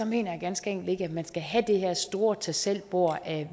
mener jeg ganske enkelt ikke at man skal have det her store tag selv bord af